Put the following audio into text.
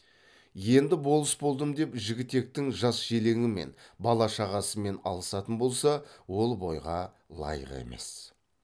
енді болыс болдым деп жігітектің жас желеңімен бала шағасымен алысатын болса ол бойға лайық емес